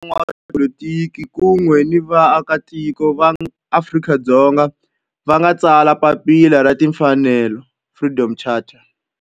Laha hi kona la van'watipolitiki kun'we ni vaaka tiko va Afrika-Dzonga va nga tsala papila ra timfanelo, Freedom Charter.